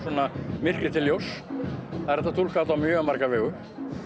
myrkri til ljóss það er hægt að túlka þetta á mjög marga vegu